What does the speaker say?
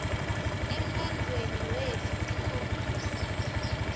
emlandvweni wetfu tikhombisa